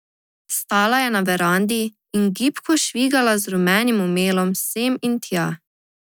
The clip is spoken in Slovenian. Stala je na verandi in gibko švigala z rumenim omelom sem in tja.